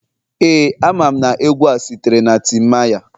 Ee, amam na egwu a sitere na timaya